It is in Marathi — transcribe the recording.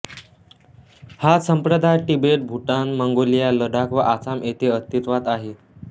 हा संप्रदाय तिबेट भूतान मंगोलिया लडाख व आसाम येथे अस्तित्वात आहे